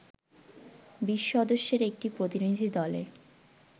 ২০ সদস্যের একটি প্রতিনিধি দলের